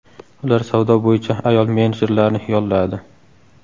Ular savdo bo‘yicha ayol menejerlarni yolladi.